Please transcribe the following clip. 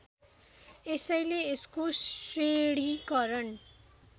यसैले यसको श्रेणीकरण